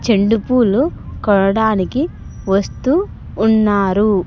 చెండుపూలు కొనడానికి వస్తూ ఉన్నారు.